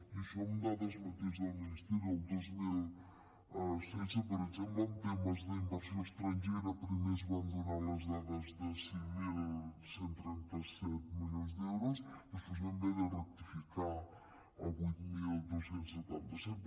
i això amb dades mateix del ministerio el dos mil setze per exemple en temes d’inversió estrangera primer es van donar les dades de cinc mil cent i trenta set milions d’euros després vam haver de rectificar a vuit mil dos cents i setanta set